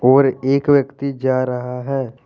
और एक व्यक्ति जा रहा है।